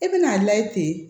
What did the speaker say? I bɛn'a lajɛ ten